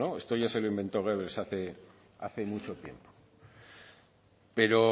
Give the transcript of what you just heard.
esto ya se lo inventó goebbels hace mucho tiempo pero